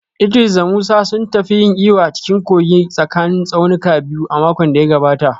Idris da Musa sun tafi yin iyo a cikin kogin tsakanin tsaunukan biyu a makon da ya gabata